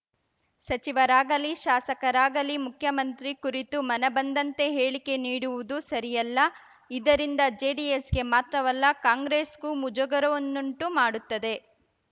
ಸಚಿವರಾಗಲಿ ಶಾಸಕರಾಗಲಿ ಮುಖ್ಯಮಂತ್ರಿ ಕುರಿತು ಮನಬಂದಂತೆ ಹೇಳಿಕೆ ನೀಡುವುದು ಸರಿಯಲ್ಲ ಇದರಿಂದ ಜೆಡಿಎಸ್‌ಗೆ ಮಾತ್ರವಲ್ಲ ಕಾಂಗ್ರೆಸ್‌ಗೂ ಮುಜುಗರವನ್ನುಂಟು ಮಾಡುತ್ತದೆ